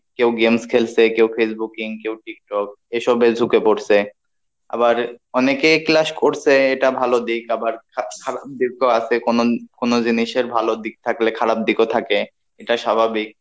কেও games খেলসে কেও Facebooking কেও tiktok এ সবে ঝুঁকে পরসে আবার অনেকেই class করসে এটা ভালো দিক আবার খা~খারাপ দিকও আসে কোনো কোনো জিনিসের ভালো দিক থাকলে খারাপ দিকও থাকে এটা স্বাভাবিক